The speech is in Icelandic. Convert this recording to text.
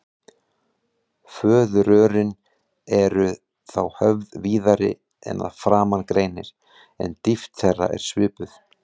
Fóðurrörin eru þá höfð víðari en að framan greinir, en dýpt þeirra er svipuð.